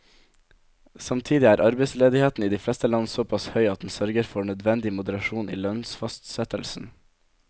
Samtidig er arbeidsledigheten i de fleste land såpass høy at den sørger for nødvendig moderasjon i lønnsfastsettelsen.